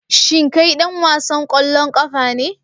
Shin kai dan wasan kwallon kafa ne